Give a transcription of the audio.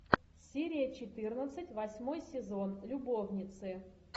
серия четырнадцать восьмой сезон любовницы